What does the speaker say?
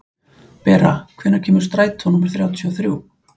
Bera, hvenær kemur strætó númer þrjátíu og þrjú?